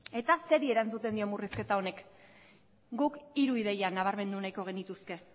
eta zeri erantzuten dio murrizketa honek guk hiru ideia nabarmendu nahiko genituzke